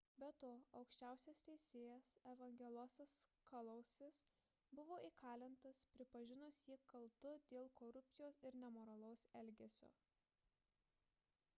be to aukščiausias teisėjas evangelosas kalousis buvo įkalintas pripažinus jį kaltu dėl korupcijos ir nemoralaus elgesio